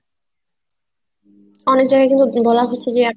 অনেক যায়গায় কিন্তু বলা হচ্ছে যে